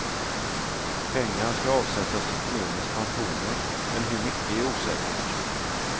Pengar skall avsättas till kommunens pensioner, men hur mycket är osäkert.